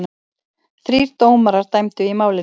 Þrír dómarar dæmdu í málinu.